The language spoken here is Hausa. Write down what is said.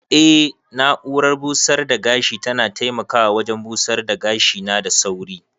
Eh na'urar busar da gashi tana taimakawa wajen busar da gashina da sauri.